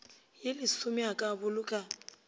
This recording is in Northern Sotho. ye lesome a ka boloka